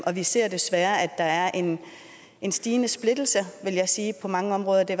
og vi ser desværre at der er en en stigende splittelse vil jeg sige på mange områder det